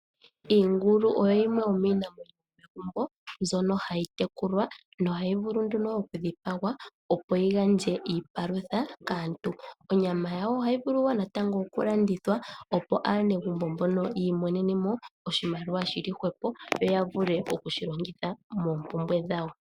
Iingulu oyo yimwe yomiinamwenyo yomegumbo mbyono hayi tekulwa nohayi vulu nduno okudhipagwa, opo yi gandje iipalutha kaantu. Onyama yawo ohayi vulu wo natango okulandithwa, opo aanegumbo mbono yi imonene mo oshimaliwa shi li hwepo yo ya vule okushi longitha moompumbwe dhawo.